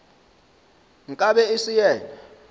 nka be e se yena